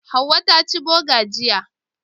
Hauwa ta ci Boga jiya.